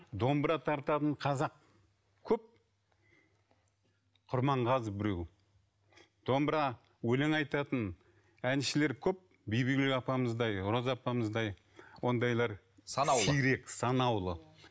домбыра тартатын қазақ көп құрманғазы біреу домбыра өлең айтатын әншілер көп бибігүл апамыздай роза апамыздай ондайлар санаулы